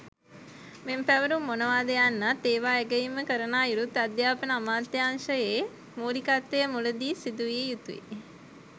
මෙම පැවරුම් මොනවාද යන්නත් ඒවා ඇගයීම කරන අයුරුත් අධ්‍යාපන අමාත්‍යංශයේ මූලිකත්වයෙන් මුලදී සිදුවිය යුතුය.